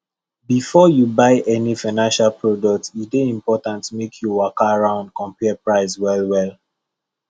before you buy any financial product e dey important make you waka round compare price well well